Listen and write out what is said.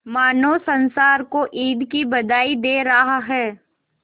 मानो संसार को ईद की बधाई दे रहा है